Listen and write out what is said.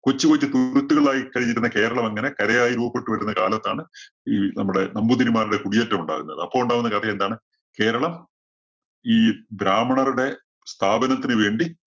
കൊച്ചു കൊച്ചു തുരുത്തുകളായി കഴിഞ്ഞിരുന്ന കേരളം അങ്ങനെ കരയായി രൂപപ്പെട്ടു വരുന്ന കാലത്താണ് ഈ നമ്മുടെ നമ്പൂതിരിമാരുടെ കുടിയേറ്റം ഉണ്ടാകുന്നത്. അപ്പോ ഉണ്ടാവുന്ന കഥയെന്താണ്? കേരളം ഈ ബ്രാഹ്മണരുടെ സ്ഥാപനത്തിനു വേണ്ടി